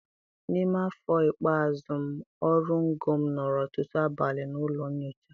N'ime afọ ikpeazụ m oru ngo m nọrọ ọtụtụ abalị na ụlọ nyocha.